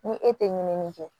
Ni e tɛ ɲinini kɛ